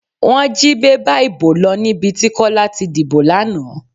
Wọ́n jí bébà ìbò lọ níbi tí Kọ́lá ti dìbò lánàá.